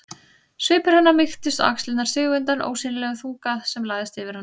Svipur hennar mýktist og axlirnar sigu undan ósýnilegum þunga sem lagðist yfir hana.